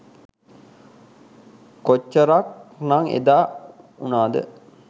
කොච්චරක් නං එදා උනාද?